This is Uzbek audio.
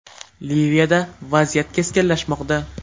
Liviyada vaziyat keskinlashmoqda.